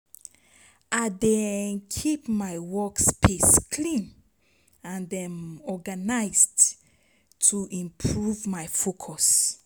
I dey keep my workspace clean and organized to improve my focus.